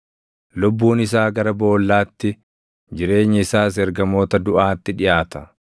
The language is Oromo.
Lubbuun isaa gara boollaatti, jireenyi isaas ergamoota duʼaatti dhiʼaata.